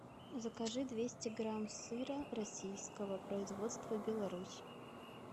закажи двести грамм сыра российского производства беларусь